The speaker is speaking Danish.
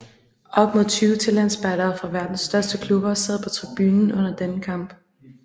Op imod 20 talentspejdere fra verdens største klubber sad på tribunen under denne kamp